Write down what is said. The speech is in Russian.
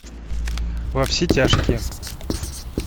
во все тяжкие